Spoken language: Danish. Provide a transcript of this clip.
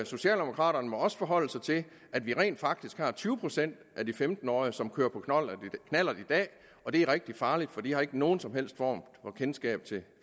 socialdemokraterne må også forholde sig til at vi rent faktisk har tyve procent af de femten årige som kører på knallert i dag og det er rigtig farligt for de har ikke nogen som helst form for kendskab til